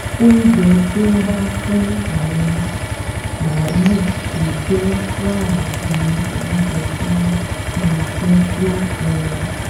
oúnjẹ tí wọ́n máa fún àwọn màlúù tó jẹ wàrà ni oúnjẹ tí wọ́n máa jẹ fún ẹran